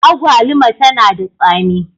Agwaluma tana da tsami.